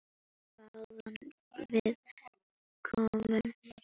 Hvaðan við komum.